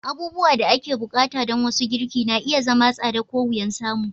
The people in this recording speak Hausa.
Abubuwan da ake buƙata don wasu girki na iya zama tsada ko wuyan samu.